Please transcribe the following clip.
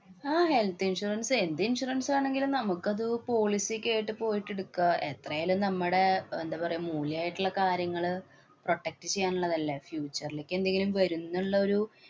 ആഹ് health insurance എന്ത് insurance ആണെങ്കിലും നമുക്കത് policy ക്കെയായിട്ട് പോയിട്ട് എടുക്കാ. എത്രയായാലും നമ്മടെ അഹ് എന്താ പറയുക മൂല്യമായിട്ടുള്ള കാര്യങ്ങള് protect ചെയ്യാനുള്ളതല്ലേ. future ലേക്ക് എന്തെങ്കിലും വരുംന്നുള്ളൊരു